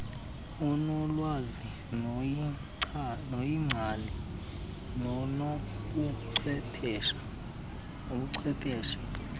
onolwazi noyingcali nonobuchwepheshe